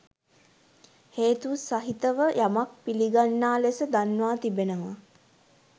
හේතු සහිතව යමක් පිළිගන්නා ලෙස දන්වා තිබෙනවා.